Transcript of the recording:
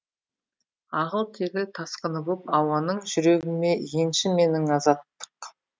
ағыл тегіл тасқыны боп ауаның жүрегіме енші менің азаттық